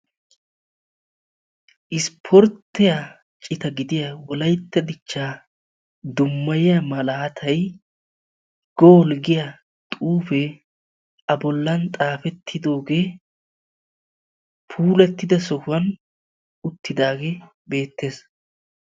isporttiya cita gidiya wolayitta dichchaa dummayiya malaatay "gol" giya xuufee a bollan xaafettidooge puulattida sohuwan uttidaage beettes.